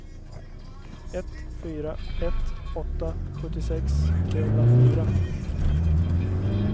ett fyra ett åtta sjuttiosex trehundrafyra